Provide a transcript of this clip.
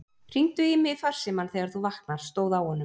Hringdu í mig í farsímann þegar þú vaknar, stóð á honum.